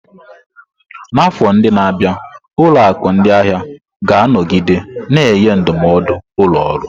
N'afọ ndị na-abịa, ụlọ akụ ndị ahịa ga-anọgide na-enye ndụmọdụ ụlọ ọrụ.